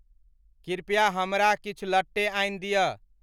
कृपया हमरा किछु लट्टे आनि दिय।